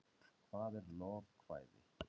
hvað er lovekvæði